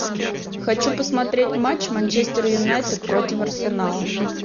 хочу посмотреть матч манчестер юнайтед против арсенала